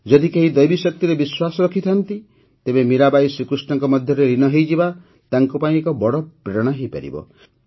ଯଦି କେହି ଦୈବୀଶକ୍ତିରେ ବିଶ୍ୱାସ ରଖିଥାନ୍ତି ତେବେ ମୀରାବାଈ ଶ୍ରୀକୃଷ୍ଣଙ୍କ ମଧ୍ୟରେ ଲୀନ ହୋଇଯିବା ତାଙ୍କପାଇଁ ଏକ ବଡ଼ ପ୍ରେରଣା ହୋଇପାରିବ